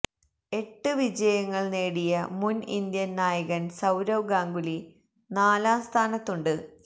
എട്ട് വിജയങ്ങൾ നേടിയ മുൻ ഇന്ത്യൻ നായകൻ സൌരവ് ഗാംഗുലി നാലാം സ്ഥാനത്തുണ്ട്